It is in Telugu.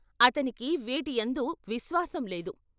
అతనికి వీటియందు విశ్వాసం లేదు.